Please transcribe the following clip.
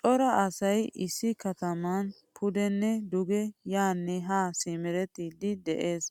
Cora asay issi kataman pudene duge yaane ha simerettidi de'ees.